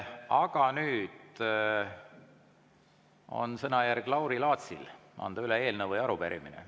Aga nüüd on sõnajärg Lauri Laatsil anda üle eelnõu või arupärimine.